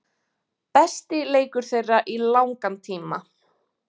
Besti leikur þeirra í langan tíma.